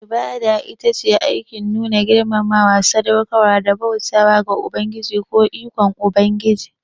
Ibada ita ce aikin nuna girmamawa, sadaukarwa da bauta ga Ubangiji ko ikon Ubangiji.